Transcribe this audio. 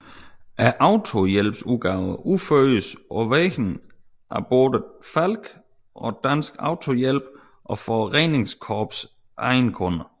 Autohjælpsopgaverne udføres på vegne af både Falck og Dansk Autohjælp og for redningskorpsets egne kunder